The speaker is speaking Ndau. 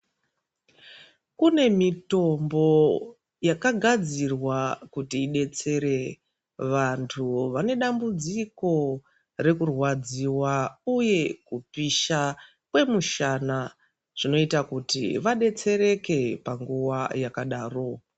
Kune mitombo yakadzirwa kuti idetsere vantu vane dambudziko rekurwadziwa uye kupisha kwemushana zvinoita kuti vadetsereke panguwa yakadaro.